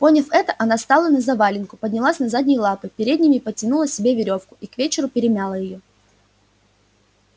поняв это она стала на завалинку поднялась на задние лапы передними подтянула себе верёвку и к вечеру перемяла её